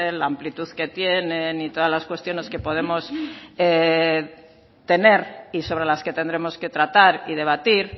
la amplitud que tiene y todas las cuestiones que podemos tener y sobre las que tendremos que tratar y debatir